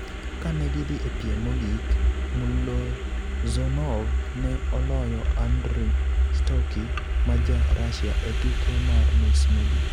Ka ne gidhi e piem mogik, Mullozhonov ne oloyo Andrey Stocky ma Ja-Russia e tuke mar nus mogik.